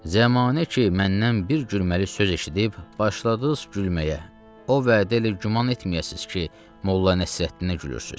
Zəmanə ki, məndən bir gülməli söz eşidib başladız gülməyə, o vədə elə güman etməyəsiniz ki, Molla Nəsrəddinə gülürsüz.